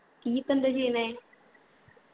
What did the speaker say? ഇയ്യ്‌ ഇപ്പൊ എന്താ ചെയ്യുന്നെ?